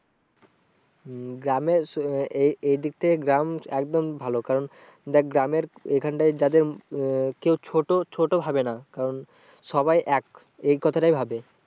হম গ্রামের এই দিক থেকে গ্রাম একদম ভালো কারণ দেখ গ্রামের এখানটা যাদের উম কেউ ছোটো, ছোটো ভাবে না কারণ সবাই এক এই কথাটাই ভাবে।